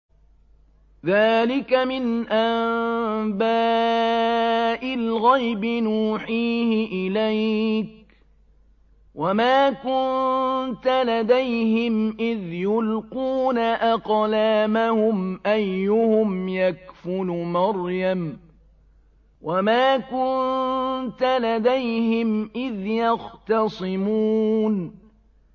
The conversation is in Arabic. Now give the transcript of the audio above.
ذَٰلِكَ مِنْ أَنبَاءِ الْغَيْبِ نُوحِيهِ إِلَيْكَ ۚ وَمَا كُنتَ لَدَيْهِمْ إِذْ يُلْقُونَ أَقْلَامَهُمْ أَيُّهُمْ يَكْفُلُ مَرْيَمَ وَمَا كُنتَ لَدَيْهِمْ إِذْ يَخْتَصِمُونَ